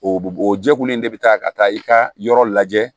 O o jɛkulu in de bi taa ka taa i ka yɔrɔ lajɛ